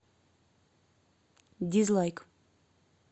дизлайк